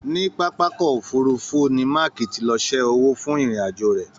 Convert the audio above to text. Níní papa ọkọ òfurùnfu ni Maaki tí lọ sẹ́ owó fún ìrìn àjò rẹ.